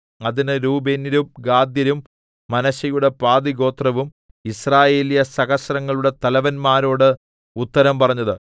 അതിന് രൂബേന്യരും ഗാദ്യരും മനശ്ശെയുടെ പാതിഗോത്രവും യിസ്രായേല്യസഹസ്രങ്ങളുടെ തലവന്മാരോട് ഉത്തരം പറഞ്ഞത്